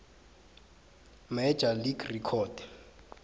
major league record